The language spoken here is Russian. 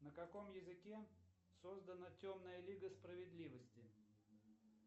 на каком языке создана темная лига справедливости